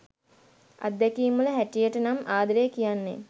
අත්දැකීම් වල හැටියටනම් ආදරේ කියන්නෙ